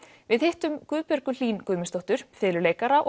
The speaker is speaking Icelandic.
við hittum Guðbjörgu Hlín Guðmundsdóttur fiðluleikara